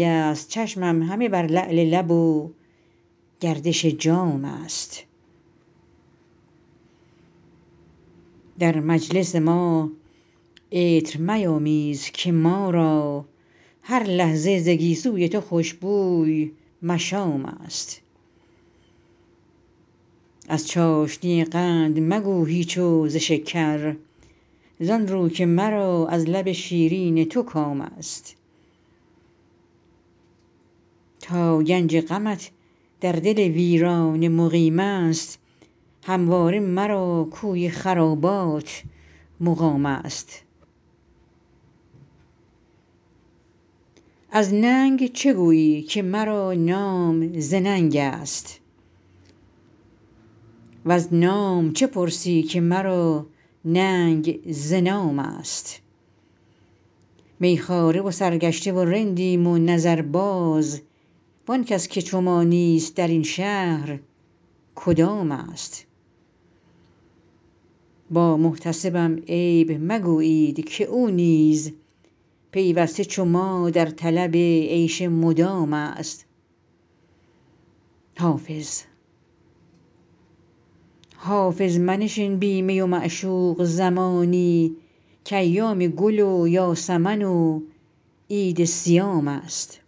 است چشمم همه بر لعل لب و گردش جام است در مجلس ما عطر میامیز که ما را هر لحظه ز گیسو ی تو خوش بوی مشام است از چاشنی قند مگو هیچ و ز شکر زآن رو که مرا از لب شیرین تو کام است تا گنج غمت در دل ویرانه مقیم است همواره مرا کوی خرابات مقام است از ننگ چه گویی که مرا نام ز ننگ است وز نام چه پرسی که مرا ننگ ز نام است می خواره و سرگشته و رندیم و نظرباز وآن کس که چو ما نیست در این شهر کدام است با محتسبم عیب مگویید که او نیز پیوسته چو ما در طلب عیش مدام است حافظ منشین بی می و معشوق زمانی کایام گل و یاسمن و عید صیام است